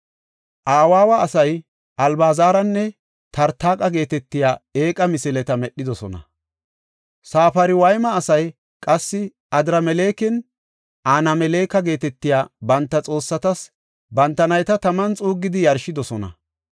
Awaawa asay Albazaranne Tartaqa geetetiya eeqa misileta medhidosona. Safarwayma asay qassi Adramelekinne Anameleka geetetiya banta xoossatas banta nayta taman xuuggidi yarshidosona.